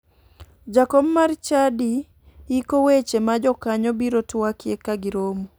Jakom mar chadi yiko weche ma jokanyo biro twakie kagiromo